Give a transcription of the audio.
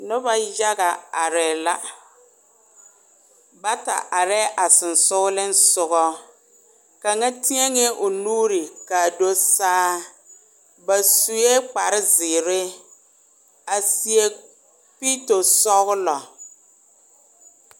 Noba yaga are la, bata are a sensɔleŋ soga, kaŋa teɛŋɛ o nuuri kaa do saa ba sue kpar zeɛre a seɛ pito sɔglɔ